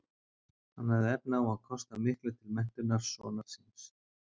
hann hafði efni á að kosta miklu til menntunar sonar síns